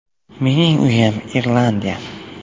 Mening uyim Irlandiya.